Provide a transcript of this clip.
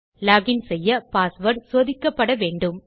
login செய்ய password சோதிக்கப்படவேண்டும்